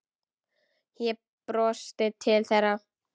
Ég brosti til þeirra.